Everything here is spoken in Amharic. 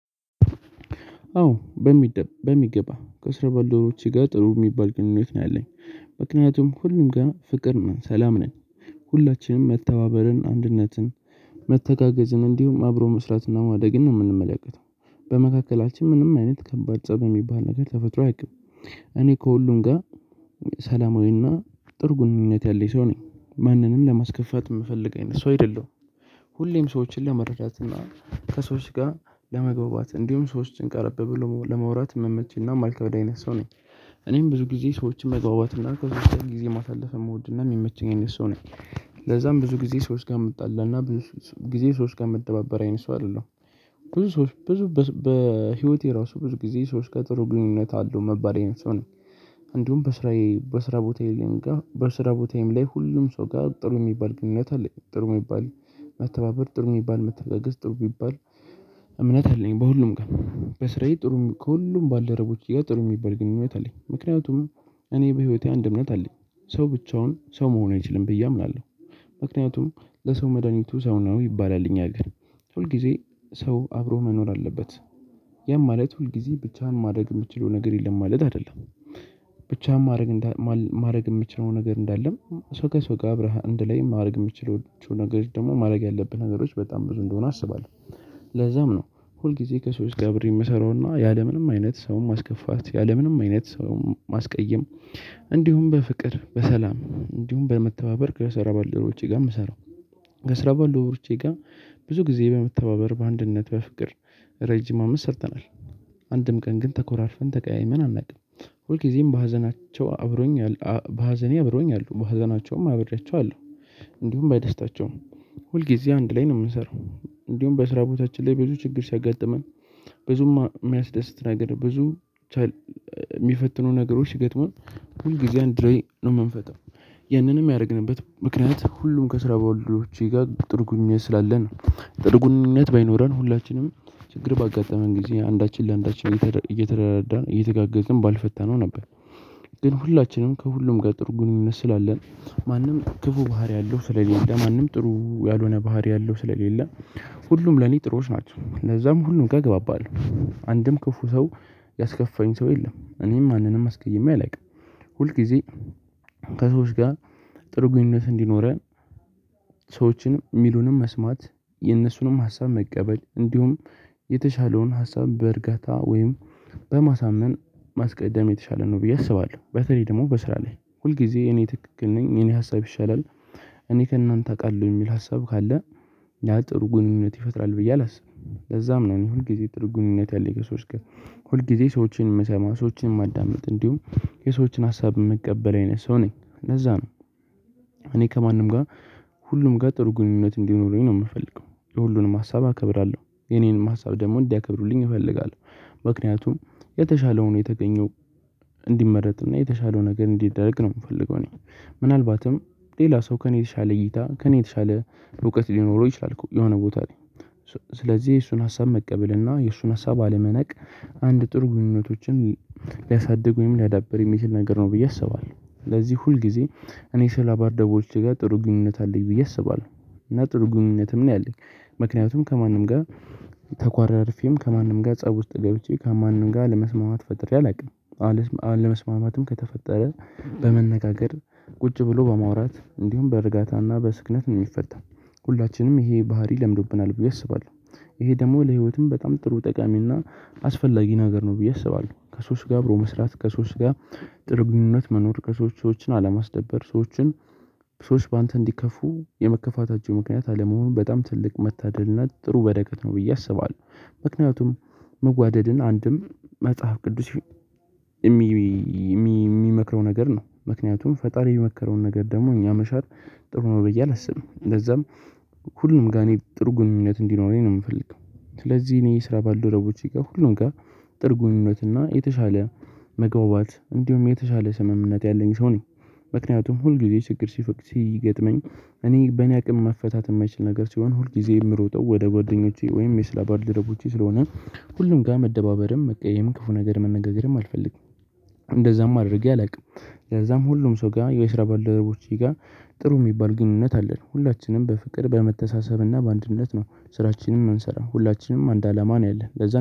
አዎ በሚገባ ከስራ ባልደረቦቸ ጋር ጥሩ የሚባል ግንኙነት ነው ያለኝ። ምክንያቱም ሁሉም ጋር ፍቅር ነን ሰላም ነን። ሁላችንም መተባበልን አንድነትን መተጋገዝን እንዲሁም አብሮ መስራትና ማደግን ነው የምንመለከተው። በመካከላችን ምንም አይነት ከባድ ፀብ የሚባል ነገር ተፈጥሮ አያውቅም። ከሁሉም ጋር ሰላማዊና ጥሩ ግንኙነት ያለኝ ሰው ነኝ ማንንም ለማስከፋት የምፈልግ አይነት ሰው አይደለም። ሁሌም ሰዎችን ለመረጃት እና ከሰዎች ጋር ለመግባባት እንዲሁም ሰዎችን ቀረበ ብሎ ለመውራት የምመችና ማልከበድ አይነት ሰው ነኝ። እኔም ብዙ ጊዜ ሰዎችን መግባባትና ከሰወች ጋር ጊዜ ማሳለፍ የምወድና የሚመችኝ አይነት ሰው ነኝ። ለዛም ብዙ ጊዜ ሰው እስከምጣላና ጊዜ ሰው እምደባበር አይነት ሰው አይደለም። ብዙ ሰዎች ብዙ በህይወቴ ራሱ ብዙ ጊዜ ሰዎች ከጥሩ ግንኙነት አለው እምባል አይነት ሰው ነኝ። አንዱም በስራዬ በስራ ቦታዬ ላይ ጋር በስራ ቦታዬም ላይ ሁሉም ሰው ጋር ጥሩ የሚባል ግንኙነት አለው ጥሩ የሚባል መተባበር ጥሩ የሚባል መተጋገዝ ጥሩ ቢባል። እምነት አለኝ በሁሉም በስራዬ ጥሩ ከሁሉም ባልደረቦች ጋር ጥሩ የሚባል ግንኙነት አለኝ። ምክንያቱም እኔ በህይወቴ አንድ እምነት አለኝ ሰው ብቻውን ሰው መሆን አይችልም ብዬ አምናለሁ። ምክንያቱም ለሰው መድሃኒቱ ሰው ነው ይባላልኝ አገር ሁልጊዜ ሰው አብሮ መኖር አለበት። ያም ማለት ሁልጊዜ ብቻህን ማድረግ የምትችለው ነገር የለም ማለት አይደለም። ብቻ ማድረግ ማድረግ የምችለው ነገር እንዳለም ሰው ከሰው ጋር አብረሃ እንድ ላይም ማድረግ የምችለው ነገሮች ደግሞ ማድረግ ያለብህ ነገሮች በጣም ብዙ እንደሆነ አስባለሁ። ለዛም ነው ሁል ጊዜ ከሰዎች ጋብሬ የምሰራውና ያለምንም አይነት ሰውን ማስከፋት ያለምንም አይነት ሰውን ማስቀየም እንዲሁም በፍቅር በሰላም እንዲሁም በመተባበር ከሰራ ባልደረቦቸ ጋር የምሰራው። ከሰራ ባልደረቦቸ ጋር ብዙ ጊዜ በመተባበር በአንድነት በፍቅር ረጅም አመት ሰርተናል። አንድም ቀን ግን ተኮራርፈን ተቀያይመን አናውቅም። ሁልጊዜም በሀዘናቸው አብሮኝ በሀዘኔ አብረውኝ አሉ በሀዘናቸውም አብሪያቸው አለሁ። እንዲሁም በደስታቸውም ሁልጊዜ አንድ ላይ ነው የምንሰራው። እንዲሁም በስራ ቦታችን ላይ ብዙ ችግር ሲያጋጥመን ብዙም የሚያስደስት ነገር ብዙ የሚፈትኑ ነገሮች ሲገጥሙን ሁል ጊዜ አንድ ላይ ነው የምንፈታው። ያንንም ያደረግንበት ምክንያት ሁሉም ከስራ በወልደረቦቼ ጋር ጥሩ ግንኝነት ስላለ ነው። ጥርጉኝነት በይኖረን ሁላችንም ችግር ባጋጠመን ጊዜ አንዳችን ለአንዳችን እየተደራደርዳን እየተጋገዝን ባልፈታነው ነበር። ግን ሁላችንም ከሁሉም ጋር ጥሩ ግንኙነት ስላለን። ማንም ክፉ ባህሪ አለው ስለዚህ ለማንም ጥሩ ያልሆነ ባህሪ አለው ስለሌለ። ሁሉም ለኔ ጥሩዎች ናቸው ለዛም ሁሉም ጋር እገባባለሁ። አንድም ክፉ ሰው ያስከፋኝ ሰው የለም እኔም ማንንም አስገይሜ አላውቅም። ሁል ጊዜ ከሰዎች ጋር ጥሩ ግንኙነት እንዲኖረን። ሰዎችን የሚሉንም መስማት የነሱንም ሀሳብ መቀበል እንዲሁም የተሻለውን ሀሳብ በእርጋታ ወይም በማሳመን ማስቀደም የተሻለ ነው። ብዬ አስባለሁ በተለይ ደግሞ በስራ ላይ ሁል ጊዜ እኔ ትክክል ነኝ እኔ ሀሳብ ይሻላል። እኔ ከእናንተ አውቃለሁ የሚል ሀሳብ ካለ ያ ጥሩ ግንኙነት ይፈጥራል ብዬ አላስብም። ለዛም ነኝ ሁል ጊዜ ጥሩ ግንኙነት ያለኝ ከሰወች ጋር። ሁል ጊዜ ሰዎችን የምሰማ ሰዎችን የማዳምጥ እንዲሁም የሰዎችን ሀሳብ የምቀበለው የነሱ ነኝ ለዛ ነው። እኔ ከማንም ጋር ሁሉም ጋር ጥሩ ግንኙነት እንዲኖረኝ ነው የምፈልገው የሁሉንም ሀሳብ አከብራለሁ የኔንም ሀሳብ ደግሞ እንዲያከብሩልኝ እፈልጋለሁ። ምክንያቱም የተሻለውን የተገኘው የተሻለው ነገር እንዲደረግ ነው የምፈልገው። እኔ ምናልባትም ሌላ ሰው ከእኔ የተሻለ እይታ ከእኔ የተሻለ እውቀት ሊኖረው ይችላል የሆነ ቦታ ላይ። ስለዚህ የእሱን ሀሳብ መቀበል እና የእሱን ሀሳብ አለመናቅ አንድ ጥሩ ግንኙነቶችን ሊያሳድጉ ወይም ሊያዳብር የሚችል ነገር ነው ብዬ አስባለሁ። ስለዚህ ሁል ጊዜ እኔ ስራ ባልደረቦቼ ጋር ጥሩ ግንኙነት አለኝ ብዬ አስባለሁ። እና ጥሩ ግንኙነትም ነው ያለኝ ምክንያቱም ከማንም ጋር ተኳራርፊም ከማንም ጋር ፀብ ውስጥ ገብቼ ከማንም ጋር አለመስማማት ፈጠሬ አላውቅም። አለመስማማትም ከተፈጠረ በመነጋገር ቁጭ ብሎ በማውራት እንዲሁም በእርጋታና በስክነት ነው የሚፈታው። ሁላችንም ይሄ ባህሪ ለምዶብናል ብዬ አስባለሁ። ይሄ ደግሞ ለህይወትም በጣም ጥሩ ጠቃሚና አስፈላጊ ነገር ነው ብዬ አስባለሁ። ከሰወች ጋር አብሮ መስራት ከሶስ ጋር ጥርግንነት መኖር ከሰዎች ሰዎችን አለማስደበር ሰዎችን ሰዎች በአንተ እንዲከፉ የመከፋታቸው ምክንያት አለመሆኑን በጣም ትልቅ መታደልነት ጥሩ በረከት ነው ብዬ አስባለሁ። ምክንያቱም መዋደድን አንድም መጽሐፍ ቅዱስ የሚመክረው ነገር ነው ምክንያቱም ፈጣሪ የሚመከረውን ነገር ደግሞ እኛ መሻር ጥሩ ነው ብዬ አላስብም። እንደዛም ሁሉም ጋር እኔ ጥርጉንነት እንዲኖረኝ ነው የምፈልገው። ስለዚህ እኔ ስራ ባልደረቦቼ ጋር ሁሉም ጋር ጥሩ ግንኘነት እና የተሻለ መግባባት እንዲሁም የተሻለ ስምምነት ያለኝ ሰው ነኝ። ምክንያቱም ሁልጊዜ ችግር ሲፈቅስ ሲገጥመኝ እኔ በእኔ አቅም መፈታት የማይችል ነገር ሲሆን ሁልጊዜ የምሮጠው ወደ ጓደኞቼ ወይም የስራ ባልደረቦቸ ስለሆነ ሁሉም ጋር መደባበርም መቀየም ክፉ ነገር መነጋገርም አልፈልግም። እንደዛም አድርጌ አላውቅም። ከዛም ሁሉም ሰው ጋር የዌሽራባል ደረቦች ጋር ጥሩ የሚባል ግንኙነት አለን ሁላችንም በፍቅር በመተሳሰብና በአንድነት ነው ስራችንን እምንሰራ ሁላችንም አንድ አላማ ነው ያለን።